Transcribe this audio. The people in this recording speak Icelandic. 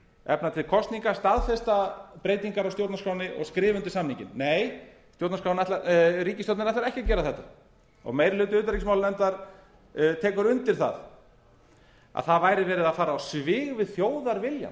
efna til kosninga staðfesta breytingar á stjórnarskránni og skrifa undir samninginn nei ríkisstjórnin ætlar ekki að gera þetta og meiri hluti utanríkismálanefndar tekur undir að það væri verið að fara á svig við þjóðarviljann